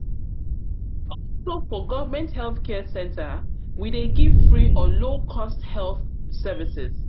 also look for government health care center we de give free or low cost health services